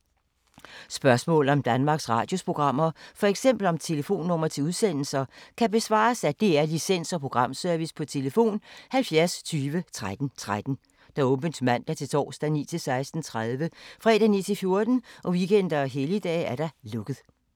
Spørgsmål om Danmarks Radios programmer, f.eks. om telefonnumre til udsendelser, kan besvares af DR Licens- og Programservice: tlf. 70 20 13 13, åbent mandag-torsdag 9.00-16.30, fredag 9.00-14.00, weekender og helligdage: lukket.